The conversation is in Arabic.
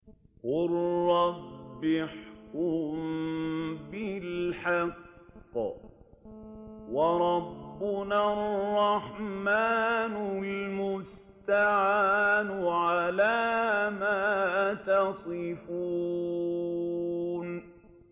قَالَ رَبِّ احْكُم بِالْحَقِّ ۗ وَرَبُّنَا الرَّحْمَٰنُ الْمُسْتَعَانُ عَلَىٰ مَا تَصِفُونَ